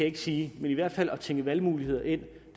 ikke sige men i hvert fald at tænke valgmuligheder ind